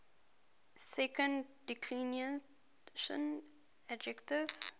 second declension adjectives